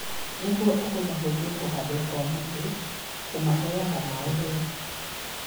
Nĩguo ũhũthahũthie kũhandwo kwa mũtĩ, ũmaheage maĩ wega